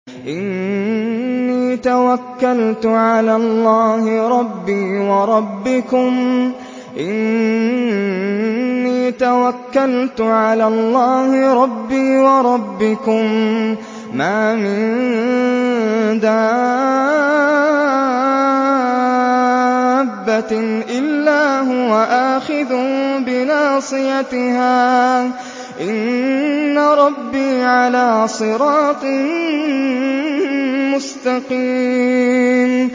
إِنِّي تَوَكَّلْتُ عَلَى اللَّهِ رَبِّي وَرَبِّكُم ۚ مَّا مِن دَابَّةٍ إِلَّا هُوَ آخِذٌ بِنَاصِيَتِهَا ۚ إِنَّ رَبِّي عَلَىٰ صِرَاطٍ مُّسْتَقِيمٍ